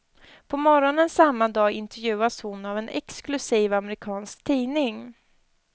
På morgonen samma dag intervjuas hon av en exklusiv amerikansk tidning.